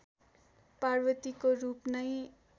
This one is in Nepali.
पार्वतीको रूप नै